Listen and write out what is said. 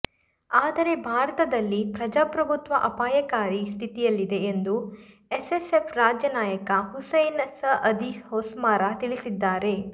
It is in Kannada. ಆದರೆ ಭಾರತದಲ್ಲಿ ಪ್ರಜಾಪ್ರಭುತ್ವ ಅಪಾಯಕಾರಿ ಸ್ಥಿತಿಯಲ್ಲಿದೆ ಎಂದು ಎಸ್ಸೆಸೆಫ್ ರಾಜ್ಯ ನಾಯಕ ಹುಸೈನ್ ಸಅದಿ ಹೊಸ್ಮಾರ್ ತಿಳಿಸಿದ್ದಾರೆ